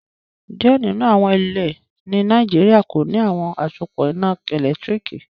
Diẹ ninu awọn ilẹ̀ ní Nàìjíríà kò ní awọn asòpọ iná èlẹ́tiríkì